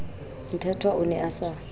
mthethwa o ne a sa